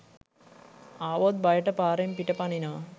ආවොත් බයට පාරෙන් පිට පනිනවා